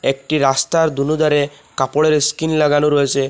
একটি রাস্তার দোনো ধারে কাপড়ের স্কিন লাগানো রয়েসে।